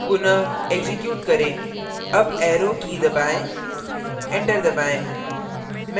पुनः एक्जीक्यूट करें up arrow की दबाएँ enter दबाएँ